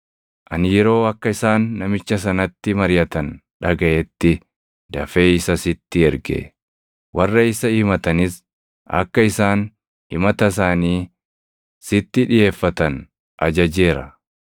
Ani yeroo akka isaan namicha sanatti mariʼatan dhagaʼetti dafee isa sitti erge. Warra isa himatanis akka isaan himata isaanii sittan dhiʼeeffatan ajajeera.